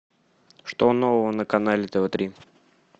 что нового на канале тв три